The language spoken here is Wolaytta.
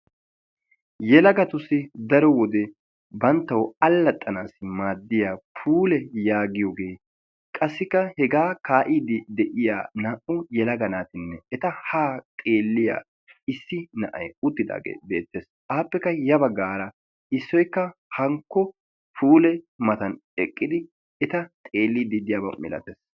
Yelagatussi daro wode banttaw allaxxanassi maaddiya puule yaagiyooge qassikka hega kaa'ide de'iyaa naa''u yelaga naatinne eta ha xeelliya issi na'ay uttidaage beettes, appekka ya baggara issoykka hankko puule matan eqqidi eta xeellide diyaaba milaatees.